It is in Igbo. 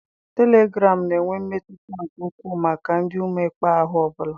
Telegraamu na-enwe mmetụta nke ukwuu maka ụdị mmekpa ahụ ọ bụla.